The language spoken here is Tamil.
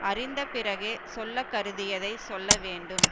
அறிந்த பிறகே சொல்லக்கருதியதைச் சொல்ல வேண்டும்